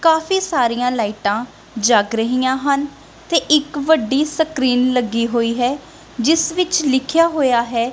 ਕਾਫੀ ਸਾਰੀਆਂ ਲਾਈਟਾਂ ਜਗ ਰਹੀਆਂ ਹਨ ਤੇ ਇੱਕ ਵੱਡੀ ਸਕਰੀਨ ਲੱਗੀ ਹੋਈ ਹੈ ਜਿਸ ਵਿੱਚ ਲਿਖਿਆ ਹੋਇਆ ਹੈ--